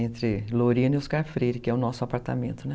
Entre Lorena e Oscar Freire, que é o nosso apartamento, né?